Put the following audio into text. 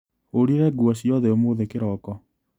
Hũrire nguo ciothe ũmũthĩ kĩroko.